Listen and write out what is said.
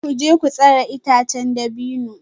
Ku je ku sare itacen dabino